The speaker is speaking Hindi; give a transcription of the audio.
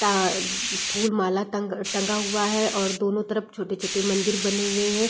ता फूल माला तग टंगा हुआ है और दोनों तरफ छोटे-छोटे मंदिर बने हुए है।